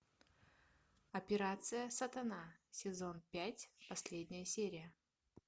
операция сатана сезон пять последняя серия